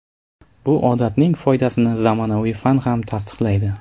Bu odatning foydasini zamonaviy fan ham tasdiqlaydi.